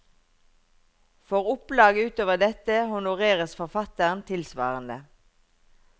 For opplag utover dette honoreres forfatteren tilsvarende.